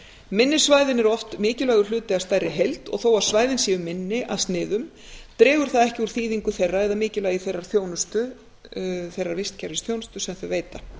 minni svæðin eru oft mikilvægur hluti af stærri heild og þó að svæðin séu minni í sniðum dregur það ekki úr þýðingu þeirra eða mikilvægi þeirrar vistkerfisþjónustu sem þau veita